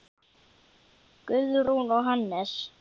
Guðrún og Hannes.